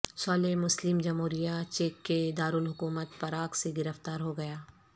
صالح Muslim جمہوریہ چیک کے دارالحکومت پراگ سے گرفتار ہو گیا